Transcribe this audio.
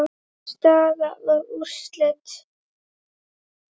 Staða og úrslit.